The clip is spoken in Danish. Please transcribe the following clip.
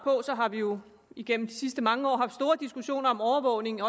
har vi jo igennem de sidste mange år haft store diskussioner om overvågning